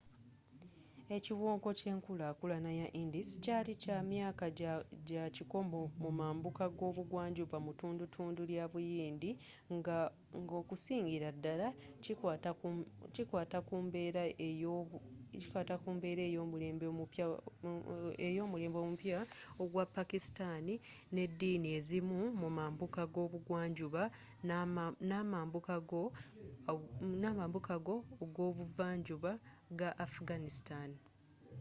ekiwonko kyenkulakulana ya indus kyali kya myaka jakikomo mu mambuka g'obugwanjuba mutundutundu lyabuyindi nga okusingira dala kikwata ku mbeera ey'omulembe omupya ogwa pakistan nediini ezimu mu mambuka g'obugwanjuba namambuka g'o g'obuvanjuba ga afghanistan